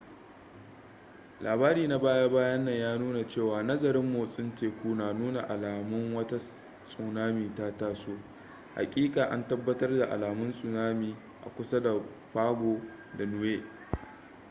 labari na baya bayan nan ya nuna cewa nazarin motsin teku na nuna alamun wata tsunami ta taso hakika an tabbatar da alamun tsunami a kusa da pago da niue